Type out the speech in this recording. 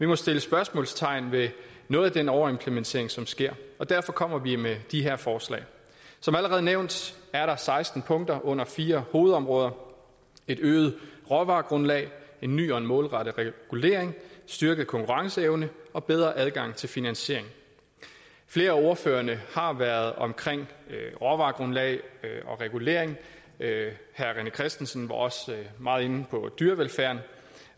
må sættes spørgsmålstegn ved noget af den overimplementering som sker og derfor kommer vi med de her forslag som allerede nævnt er der seksten punkter under fire hovedområder et øget råvaregrundlag en ny og målrettet regulering styrket konkurrenceevne og bedre adgang til finansiering flere af ordførerne har været omkring råvaregrundlag og regulering herre rené christensen var også meget inde på dyrevelfærden